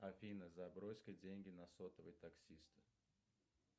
афина забрось ка деньги на сотовый таксисту